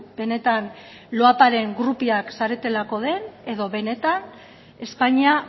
benetan loaparen groupiak zaretelako den edo benetan espainia